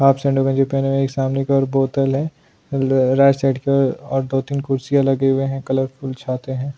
Half सेंडो पहने हुए है सामने की और बोतल है राईट साईड कि और दो तीन खुर्सिया लगे हुई है कलरफुल छाते हैं।